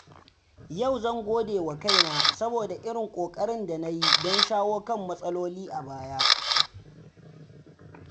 Yau zan godewa kaina saboda irin ƙoƙarin da na yi don shawo kan matsaloli a baya.